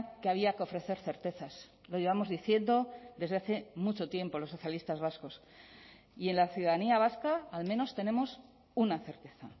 que había que ofrecer certezas lo llevamos diciendo desde hace mucho tiempo los socialistas vascos y en la ciudadanía vasca al menos tenemos una certeza